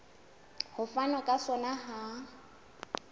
ho fanwa ka sona ha